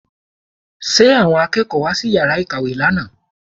Ṣe àwọn akẹ́kọ̀ọ́ wá sí yàrá ìkàwé lánàá?